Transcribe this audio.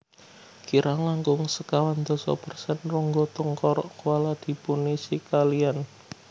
Kirang langkung sekawan dasa persen rongga tengkorak koala dipunisi kaliyan